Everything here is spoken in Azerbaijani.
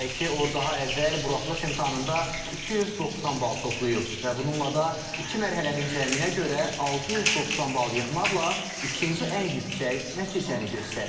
Qeyd edək ki, o daha əvvəl buraxılış imtahanında 290 bal toplayıb və bununla da iki mərhələnin cəminə görə 690 bal yığmaqla ikinci ən yüksək nəticəni göstərib.